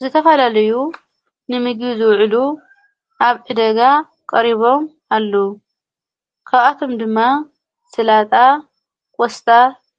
ዝተፈላለዩ ንምግቢ ዝውዕሉ ኣብ ዕደጋ ቀሪቦም ኣሉ ኸብኣቶም ድማ ሥላጣ ቖስታ